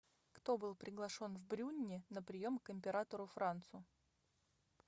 кто был приглашен в брюнне на прием к императору францу